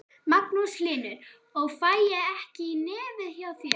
Magnús Hlynur: Og fæ ég ekki í nefið hjá þér?